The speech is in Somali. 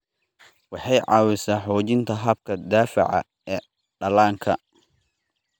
Waxay caawisaa xoojinta habka difaaca ee dhallaanka.